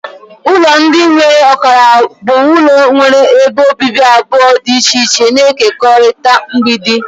Ụlọ ndị nwere ọkara bụ ụlọ nwere ebe obibi abụọ dị iche iche na-ekekọrịta mgbidi.